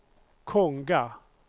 Konga